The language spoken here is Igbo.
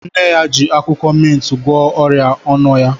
Nne ya ji akwụkwọ mintị gwọọ ọrịa ọnụ ya.